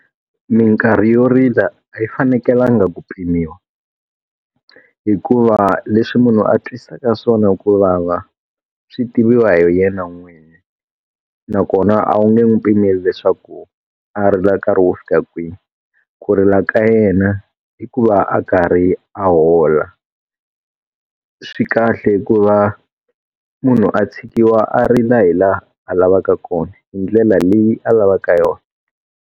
Minkarhi yo rila a yi fanekelanga ku pimiwa. Hikuva leswi munhu a twisaka swona ku vava, swi tiviwa hi yena n'wini. Nakona a wu nge n'wi pimeli leswaku a ri na nkarhi wo fika kwihi. Ku rila ka yena i ku va a karhi a hola. Swi kahle ku va munhu a tshikiwa a rila hi laha a lavaka kona hi ndlela leyi a lavaka yona.